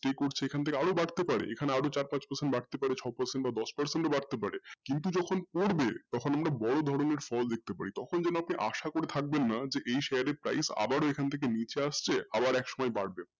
এটাই করছে এখান থেকে আরও বাড়তে পারে এখানে আরও চার পাঁচ percent বাড়তে পারে ছয় percent বা দশ percent ও বাড়তে পারে কিন্তু যখন পড়বে তখন বড় ধরনের ফল দেখতে পারি তখন যেন আবার আপনি আশা করে থাকবেন না এই share এর price আবার এখান থেকে নীচে আচসবে আবার একসময়ে বাড়বে।